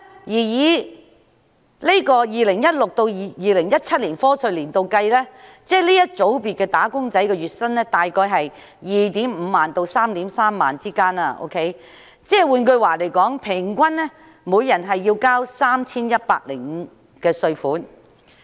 以 2016-2017 課稅年度計算，這個組別的"打工仔女"的月薪約為 25,000 元至 33,000 元，平均每人繳稅 3,105 元。